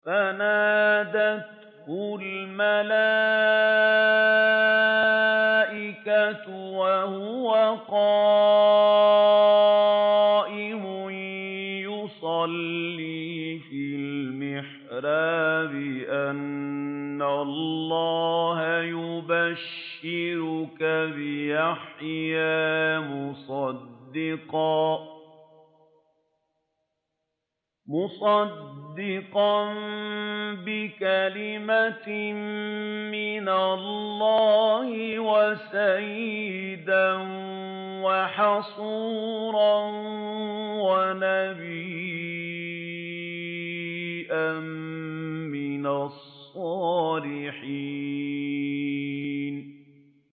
فَنَادَتْهُ الْمَلَائِكَةُ وَهُوَ قَائِمٌ يُصَلِّي فِي الْمِحْرَابِ أَنَّ اللَّهَ يُبَشِّرُكَ بِيَحْيَىٰ مُصَدِّقًا بِكَلِمَةٍ مِّنَ اللَّهِ وَسَيِّدًا وَحَصُورًا وَنَبِيًّا مِّنَ الصَّالِحِينَ